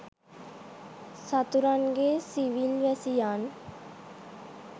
සතුරන්ගේ civil වැසියන්